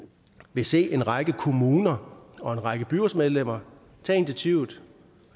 vil se en række kommuner og en række byrådsmedlemmer tage initiativet